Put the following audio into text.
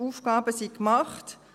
Die Aufgaben sind gemacht.